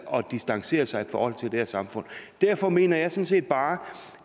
og distancerer sig i forhold til det her samfund derfor mener jeg sådan set bare